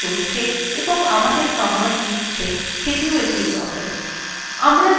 the shellthe চলছে এবং আমাদের commands নিচ্ছে সেটিও একটি process